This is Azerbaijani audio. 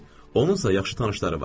Onunsa yaxşı tanışları var.